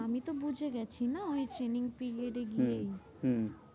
আমিতো বুঝেগেছি না? ওই training period এ গিয়ে হম হম